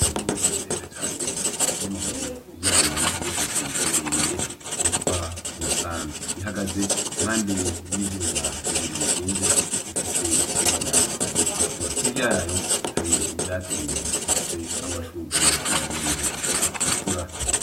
Inyoni ndende cane kubw'amaguru yayo n'izosi rirerire, yitwa umusambi ihagaze impande y'ivyuma bibiri bishinze bifise ibara ritukura hirya yayo hari ivyatsi bifise amashugwe nayo nyene atukura.